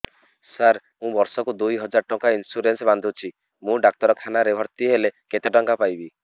ସାର ମୁ ବର୍ଷ କୁ ଦୁଇ ହଜାର ଟଙ୍କା ଇନ୍ସୁରେନ୍ସ ବାନ୍ଧୁଛି ମୁ ଡାକ୍ତରଖାନା ରେ ଭର୍ତ୍ତିହେଲେ କେତେଟଙ୍କା ପାଇବି